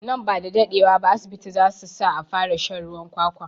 Nan bada daɗe wa ba asibiti zasu sa a fara shan ruwan kwakwa